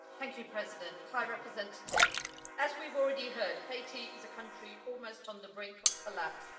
Madam President, High Representative, as we've already heard, Haiti is a country almost on the brink of collapse.